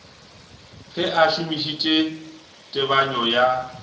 ge a šomišitše tebanyo ya